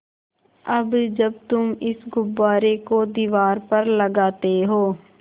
अब जब तुम इस गुब्बारे को दीवार पर लगाते हो